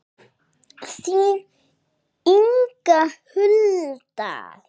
Þín Inga Hulda.